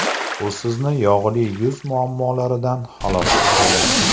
U sizni yog‘li yuz muammolaridan xalos etadi.